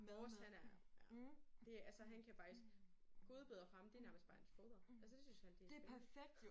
Vores han er ja det altså han kan faktisk godbidder for ham det er nærmest bare hans foder altså det synes han det er skønt